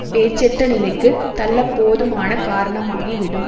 பேச்சட்ட நிலைக்கு தள்ள போதுமான காரணமாகி விடும்